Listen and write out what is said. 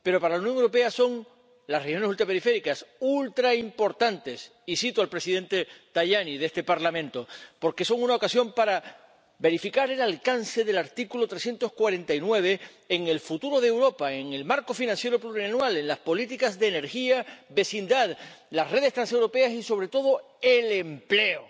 Pero para la Unión Europea las reuniones ultraperiféricas son ultraimportantes, y cito al presidente Tajani de este Parlamento, porque son una ocasión para verificar el alcance del artículo 349 en el futuro de Europa, en el marco financiero plurianual, en las políticas de energía y vecindad, las redes transeuropeas y, sobre todo, el empleo.